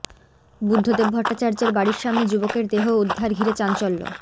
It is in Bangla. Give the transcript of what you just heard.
বুদ্ধদেব ভট্টাচার্যের বাড়ির সামনে যুবকের দেহ উদ্ধার ঘিরে চাঞ্চল্য